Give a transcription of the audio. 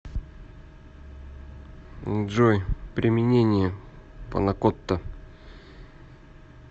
джой применение панакотта